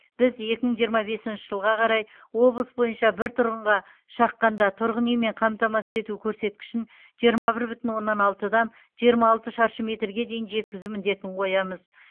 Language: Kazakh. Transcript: біз екі мың жиырма бесінші жылға қарай облыс бойынша бір тұрғынға шаққанда тұрғын үймен қамтамасыз ету көрсеткішін жиырма бір бүтін оннан алтыдан жиырма алты шаршы метрге дейін жеткізу міндетін қоямыз